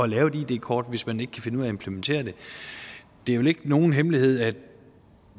lave et id kort hvis man ikke kan finde ud af at implementere det det er vel ikke nogen hemmelighed at